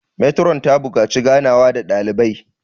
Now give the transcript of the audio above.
metron ta buƙaci ganawa da dalibai